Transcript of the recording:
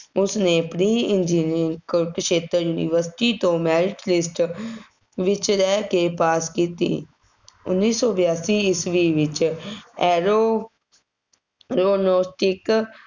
ਉਸਨੇ pre engineering Kurukshetra university ਤੋਂ merit list ਵਿੱਚ ਰਹਿ ਕੇ pass ਕੀਤੀ, ਉੱਨੀ ਸੌ ਬਿਆਸੀ ਈਸਵੀ ਵਿੱਚ aeronautic